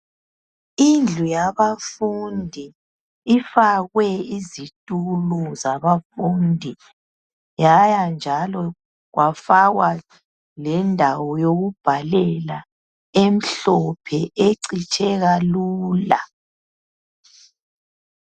Indlu yabafunda ifakwe izitulo zabafundi yaya njalo kwafakwa lendawo yokubhalela emhlophe ecitsheka lula.